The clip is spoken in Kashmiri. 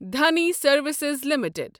Dhani services limited